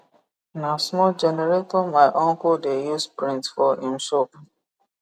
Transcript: na small generator my uncle de use print for him shop